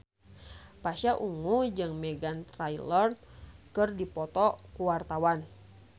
Pasha Ungu jeung Meghan Trainor keur dipoto ku wartawan